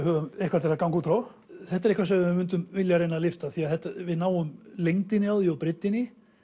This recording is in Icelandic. höfum eitthvað til að ganga út frá þetta er eitthvað sem við við myndum vilja reyna að lyfta því að við náum lengdinni á því og breiddinni